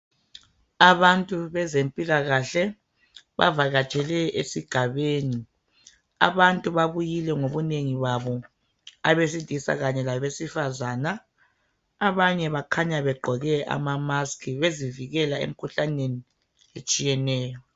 Abantu bezempilakahle bavakatshele esigabeni abantu babuyile ngobunengi babo abesilisa kanye labesifazana abanye bakhanya begqoke ama mask bezivikela emikhuhlanenei etshiyeneyo